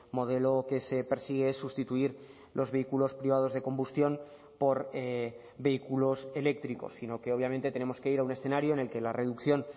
modelo que se persigue es sustituir los vehículos privados de combustión por vehículos eléctricos sino que obviamente tenemos que ir a un escenario en el que la reducción